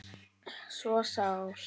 svo sár